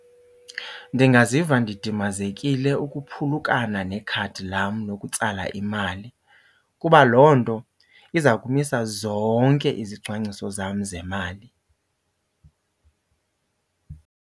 Ndingaziva ndidimazekile ukuphulukana nekhadi lam lokutsala imali kuba loo nto iza kumisa zonke izicwangciso zam zemali.